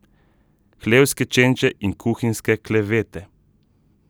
Hlevske čenče in kuhinjske klevete.